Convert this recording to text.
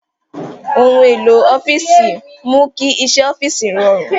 Ohun èlò ọ́fíìsì mú kí iṣẹ́ ọ́fíìsì rọrùn.